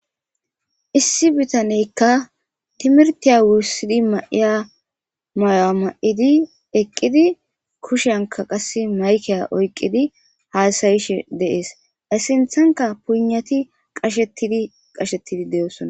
issi bitaneykka timirtiya wuussidi mayiya may7a ma7idi eqqidi kushenka qase maykeya oyqqidi haasayishe deees essinthanka punati qashettidi qashettidi de7oosona